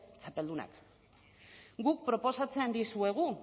txapeldunak guk proposatzen dizuegu